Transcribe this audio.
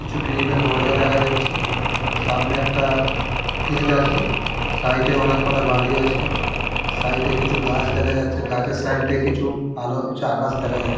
কিছু গ্রিলিলের দরজা দেখা যাচ্ছে । সামনে একটা গেট আছে। সাইডে অনেক কটা বাড়ি আছে। সাইডে কিছু গাছ দেখা যাচ্ছে। গাছের সাইডে কিছু আলো আকাশ দেখা যাচ্ছে ।